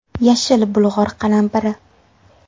Yashil bulg‘or qalampiri.